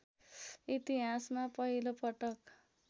इतिहासमा पहिलो पटक